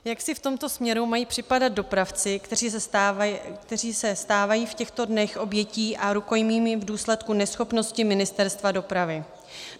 Jak si v tomto směru mají připadat dopravci, kteří se stávají v těchto dnech obětí a rukojmími v důsledku neschopnosti Ministerstva dopravy?